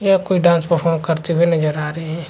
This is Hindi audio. यह कोई डांस परफॉर्म करते हुए नजर आ रहै है।